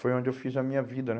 Foi onde eu fiz a minha vida, né?